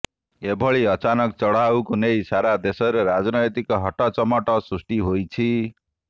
ଏଭଳି ଅଚାନକ ଚଢ଼ାଉକୁ ନେଇ ସାରା ଦେଶରେ ରାଜନୈତିକ ହଟଚମଟ ସୃଷ୍ଟି ହୋଇଛି